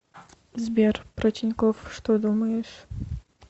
сбер про тинькофф что думаешь